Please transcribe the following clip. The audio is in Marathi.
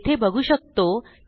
येथे बघू शकतो